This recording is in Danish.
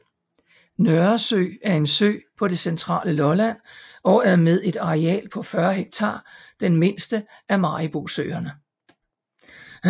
Nørresø er en sø på det centrale Lolland og er med et areal på 40 hektar den mindste af Maribosøerne